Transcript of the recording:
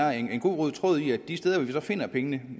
er en god rød tråd i at de steder hvor vi så finder pengene